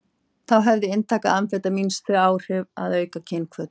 Þá hefði inntaka amfetamíns þau áhrif að auka kynhvöt.